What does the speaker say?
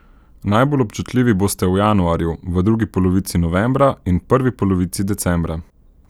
Najbolj občutljivi boste v januarju, v drugi polovici novembra in prvi polovici decembra.